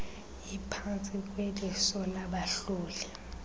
iphantsi kweliso labahloli